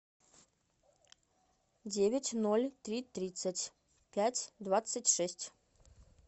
девять ноль три тридцать пять двадцать шесть